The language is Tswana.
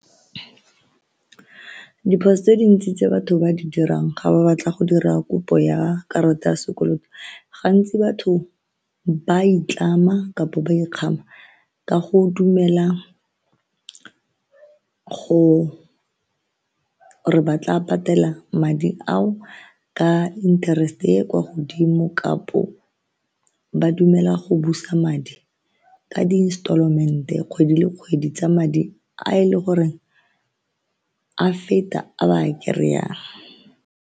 Diphoso tse dintsi tse batho ba di dirang ga ba batla go dira kopo ya karata ya sekoloto gantsi batho ba itlama kapa ba ikgama ka go dumela gore ba tla patela madi ao ka interest-e kwa godimo kapo ba dumela go busa madi ka di-installment kgwedi le kgwedi tsa madi a e le goreng a feta a ba a kry-ang.